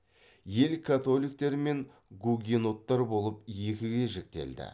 ел католиктер мен гугеноттар болып екіге жіктелді